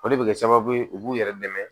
O de bɛ kɛ sababu ye u b'u yɛrɛ dɛmɛ